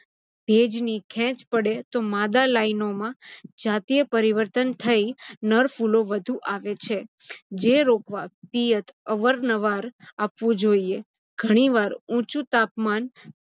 ભેજની ખેંચ પડે તો માદા લાઇનોમાં જાતિય પરીવતૅન થઇ નર ફુલો વધુ આવે છે. જે રોપવા પિયત અવારનવાર આપવું જોઇએ. ઘણીવાર ઊંચુ તાપમાન